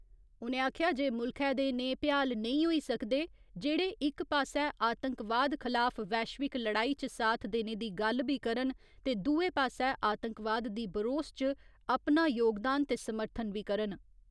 उ'नें आखेआ जे मुल्खै दे नेह् भ्याल नेईं होई सकदे, जेह्ड़े इक पास्सै आतंकवाद खलाफ वैश्विक लड़ाई च साथ देने दी गल्ल बी करन, ते दुए पास्सै आतंकवाद दी बरोस च अपना योगदान ते समर्थन बी करन।